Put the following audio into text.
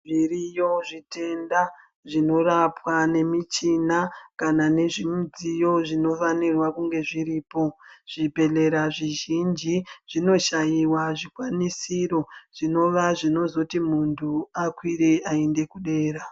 Zviriyo zvitenda zvinorapwa nemichini kana nezvimidziyo zvinofanira kunge zviripo . Zvibhedhlera zvizhinji zvinoshaiwa zvikwanisiro zvinova zvinozoti muntu akwire aende dera .